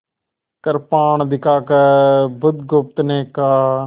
कृपाण दिखाकर बुधगुप्त ने कहा